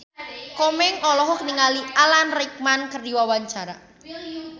Komeng olohok ningali Alan Rickman keur diwawancara